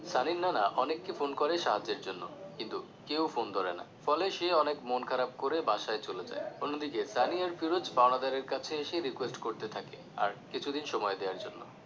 সানির নানা অনেক কে ফোন করে সাহায্যের জন্য কিন্তু কেউ ফোন ধরে না ফলে সে অনেক মন খারাপ করে বাসায় চলে যায় অন্যদিকে সানি আর ফিরোজ পাওনাদারের কাছে এসে request করতে থাকে আর কিছুদিন সময় দেওয়ার জন্য